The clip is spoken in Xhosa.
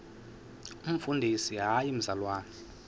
umfundisi hayi mzalwana